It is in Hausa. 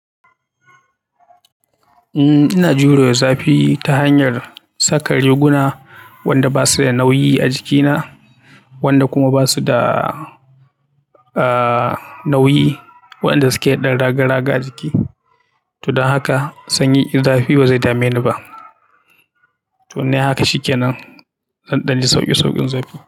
Eh ina jure zafi ta hanyar saka riguna wanda basu da nauyi a jikina wanda kuma basu da nauyi waenda suke dan raga-raga a jiki. To don haka sanyi ko zafi bazai dame ni ba. To in nayi haka shikenan, zan ɗan ji sauƙi sauƙin zafi.